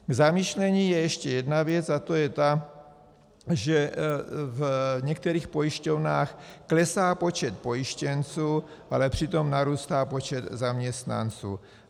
K zamyšlení je ještě jedna věc, a to je ta, že v některých pojišťovnách klesá počet pojištěnců, ale přitom narůstá počet zaměstnanců.